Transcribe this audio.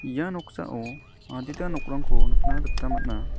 ia noksao adita nokrangko nikna gita man·a.